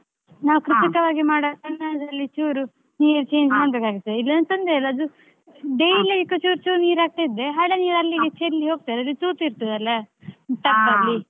ನಾವು ಕೃತಕವಾಗಿ ಮಾಡೋ ಕಾರಣದಲ್ಲಿ ಚೂರು ನೀರ್ change ಇಲ್ಲಾಂದ್ರೆ ತೊಂದ್ರೆ ಇಲ್ಲ. ಅದು ಚುರ್ ಚುರ್ ನೀರ್ ಹಾಕ್ತಾ ಇದ್ರೆ ಹಳೆ ನೀರ್ ಚೆಲ್ಲಿ ಹೋಗ್ತದೆ ಅಂದ್ರೆ ತೂತು ಇರ್ತದಲ್ಲ tub ಅಲ್ಲಿ.